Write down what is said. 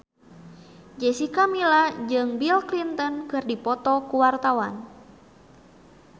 Jessica Milla jeung Bill Clinton keur dipoto ku wartawan